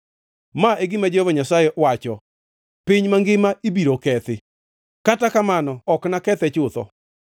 Ma e gima Jehova Nyasaye wacho: “Piny mangima ibiro kethi, kata kamano ok nakethe chutho.